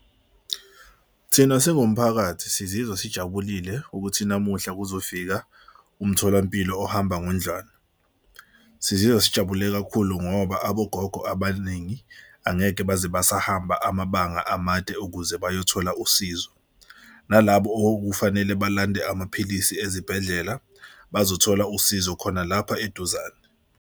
Thina singumphakathi sizizwa sijabulile ukuthi namuhla kuzofika umtholampilo ohamba ngendlwana, sizizwa sijabule kakhulu ngoba abogogo abaningi angeke baze basa ahamba amabanga amade ukuze bayothola usizo. Nalabo okufanele balande amaphilisi ezibhedlela bazothola usizo khona lapha eduzane.